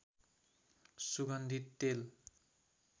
सुगन्धित तेल